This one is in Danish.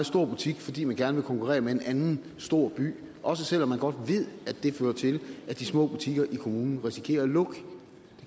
stor butik fordi de gerne konkurrere med en anden stor by også selv om de godt ved at det fører til at de små butikker i kommunen risikerer at lukke det